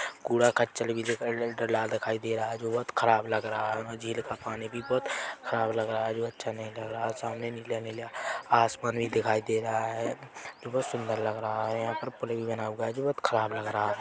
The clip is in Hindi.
कूड़ा कचरा भी दिख डला दिखाई रहा है जो बहोत खराब लग रहा है झील का पानी भी बहोत खराब लग रहा है जो अच्छा नहीं लग रहा है और सामने नीले-नीले आसमान भी दिखाई दे रहा है जो बहोत सुंदर लग रहा है यहाँ पर पुलिन बना हुआ है जो बहोत खराब लग रहा है।